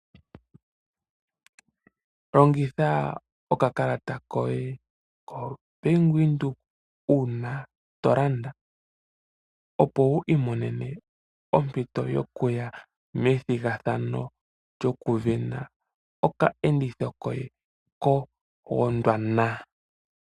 Longitha okakalata koye koBank Windhoek uuna tolanda opo wiimonene ompito yo kuya methigathano lyokusindana okayenditho koye ko Gondwana.